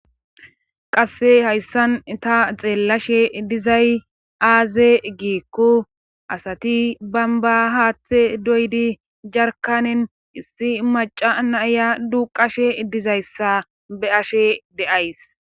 qasse hayssan ta xeellashe dizay aaze giikku asati bamba haaththe doydi jarkanen issi maca naiya duqashe dizayssa be ashe de7ays